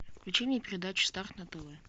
включи мне передачу старт на тв